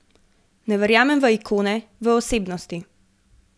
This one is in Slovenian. Ne verjamem v ikone, v osebnosti.